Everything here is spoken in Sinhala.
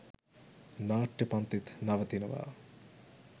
නාට්‍ය පන්තිත් නවතිනවා.